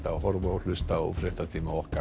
að horfa og hlusta á fréttatíma okkar